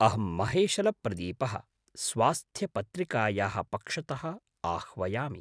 अहं महेशलप्रदीपः, स्वास्थ्यपत्रिकायाः पक्षतः आह्वयामि।